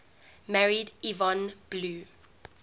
married yvonne blue